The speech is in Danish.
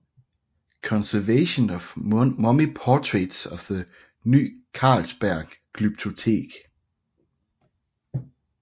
Conservation of Mummy Portraits at the Ny Carlsberg Glyptotek